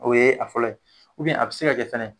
O ye a fɔlɔ ye, a bɛ se ka kɛ fɛnɛ.